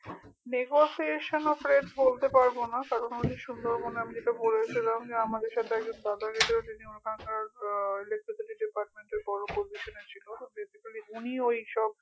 negotiation of rate বলতে পারবোনা কারণ ঐ যে সুন্দরবনে আমি যেটা বলেছিলাম যে আমাদের সাথে একজন দাদা গেছিল যিনি ওখানকার আহ electricity department এর বড় position এ ছিল basically উনিই ঐসব